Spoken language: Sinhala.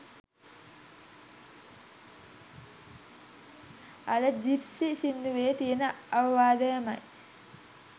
අර ජිප්සීස් සින්දුවේ තියෙන අවවාදයමයි.